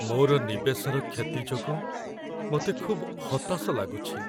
ମୋର ନିବେଶର କ୍ଷତି ଯୋଗୁଁ ମୋତେ ଖୁବ୍ ହତାଶ ଲାଗୁଛି।